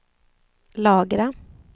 lagra